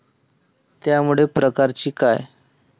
त्यामुळे प्रकारची काय?